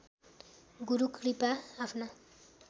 गुरु कृपा आफ्ना